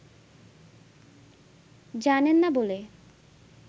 জানেন না বলে